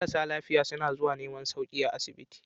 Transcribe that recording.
Marasa lafiya suna zuwa neman sauki a asibiti.